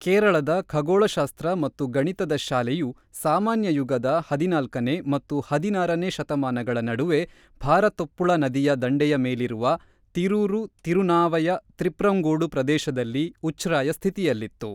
ಕೇರಳದ ಖಗೋಳಶಾಸ್ತ್ರ ಮತ್ತು ಗಣಿತದ ಶಾಲೆಯು ಸಾಮಾನ್ಯ ಯುಗದ ಹದಿನಾಲ್ಕನೇ ಮತ್ತು ಹದಿನಾರನೇ ಶತಮಾನಗಳ ನಡುವೆ ಭಾರತಪ್ಪುಳ ನದಿಯ ದಂಡೆಯ ಮೇಲಿರುವ ತಿರೂರು-ತಿರುನಾವಯ-ತ್ರಿಪ್ರಂಗೋಡು ಪ್ರದೇಶದಲ್ಲಿ ಉಚ್ಛ್ರಾಯ ಸ್ಥಿತಿಯಲ್ಲಿತ್ತು.